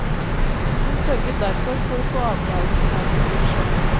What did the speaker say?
Hun sørget derfor for å få avtalen på plass i fjor sommer.